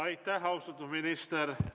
Aitäh, austatud minister!